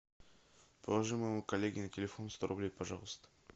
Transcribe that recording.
положи моему коллеге на телефон сто рублей пожалуйста